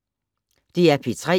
DR P3